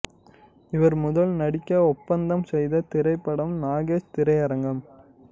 இவர் முதல் நடிக்க ஒப்பந்தம் செய்த திரைப்படம் நாகேஷ் திரையரங்கம்